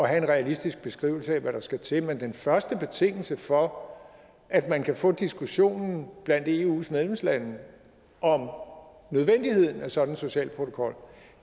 have en realistisk beskrivelse af hvad der skal til men den første betingelse for at man kan få diskussionen blandt eus medlemslande om nødvendigheden af sådan en social protokol